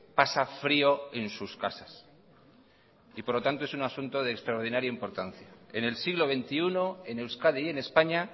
pasa frio en sus casas por lo tanto es un asunto de extraordinaria importancia en el siglo veintiuno en euskadi y en españa